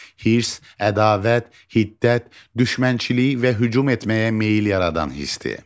Hirs, ədavət, hiddət, düşmənçilik və hücum etməyə meyl yaradan hisdir.